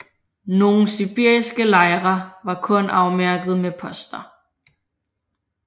Nogle sibiriske lejre var kun afmærkede med poster